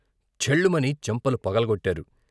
ఛెల్లుమని చెంపలు పగలగొట్టారు.